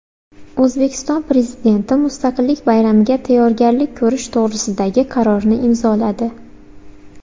O‘zbekiston Prezidenti Mustaqillik bayramiga tayyorgarlik ko‘rish to‘g‘risidagi qarorni imzoladi.